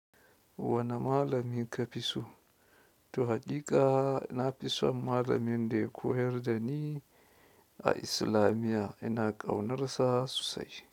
Wani malami ka fi so to haƙiƙa, na fi son malamin da ya koyar da ni a islamiyya, ina ƙaunarsa sosai.